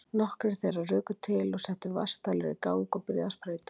Nokkrir þeirra ruku til og settu vatnsdælur í gang og byrjuðu að sprauta.